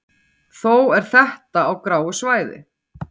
þó er þetta á gráu svæði